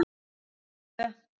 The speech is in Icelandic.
númer tvö.